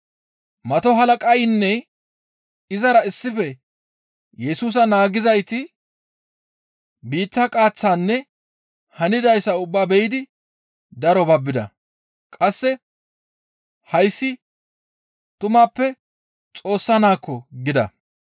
Mato halaqaynne izara issife Yesusa naagizayti biitta qaaththaanne hanidayssa ubbaa be7idi daro babbida. Qasse, «Hayssi tumappe Xoossa Naakko!» gida.